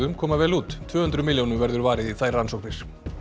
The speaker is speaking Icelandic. koma vel út tvö hundruð milljónum verður varið í þær rannsóknir